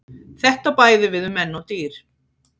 Þetta á bæði við um menn og dýr.